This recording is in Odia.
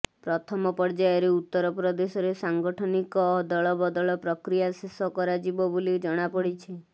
ପ୍ରଥମ ପର୍ଯ୍ୟାୟରେ ଉତ୍ତର ପ୍ରଦେଶରେ ସାଗଠନିକ ଅଦଳବଦଳ ପ୍ରକ୍ରିୟା ଶେଷ କରରାଯିବ ବୋଲି ଜଣାପଡ଼ିଛି